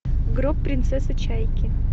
гроб принцессы чайки